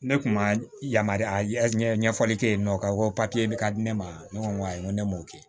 Ne kun ma yamaruya ɲɛ ɲɛfɔli kɛ ye yen nɔ k'a ko papiye bɛ ka di ne ma ne ko ayi n ko ne m'o kɛ